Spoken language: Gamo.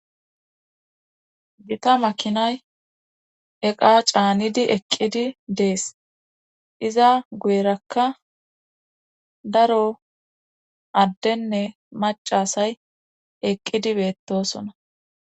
gita makinay eqa caanidi eqqidi dees iza guyerakka daro addenne macasay eqqidi beettosona